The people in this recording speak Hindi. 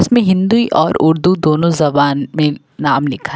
इसमें हिंदी और उर्दू दोनों जबान में नाम लिखा है।